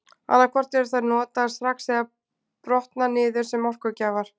Annað hvort eru þær notaðar strax eða brotna niður sem orkugjafar.